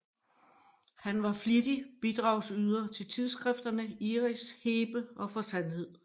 Han var flittig bidragyder til tidsskrifterne Iris og Hebe og For Sandhed